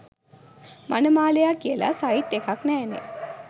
මනමාලයා කියලා සයිට් එකක් නෑනේ.